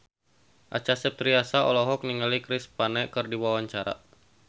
Acha Septriasa olohok ningali Chris Pane keur diwawancara